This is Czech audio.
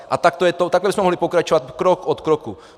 A takhle bychom mohli pokračovat krok po kroku.